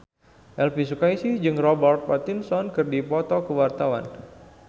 Elvi Sukaesih jeung Robert Pattinson keur dipoto ku wartawan